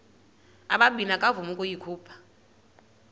ubabini akavuma ukuyikhupha